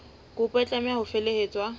kopo e tlameha ho felehetswa